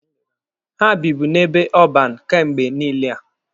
Ha bibu n'ebe ọban kemgbe niile a.